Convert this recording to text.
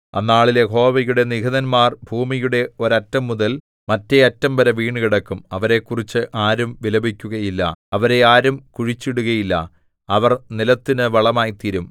അന്നാളിൽ യഹോവയുടെ നിഹതന്മാർ ഭൂമിയുടെ ഒരറ്റംമുതൽ മറ്റെ അറ്റംവരെ വീണുകിടക്കും അവരെക്കുറിച്ച് ആരും വിലപിക്കുകയില്ല അവരെ ആരും കുഴിച്ചിടുകയില്ല അവർ നിലത്തിനു വളമായിത്തീരും